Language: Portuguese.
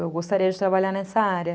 Eu gostaria de trabalhar nessa área.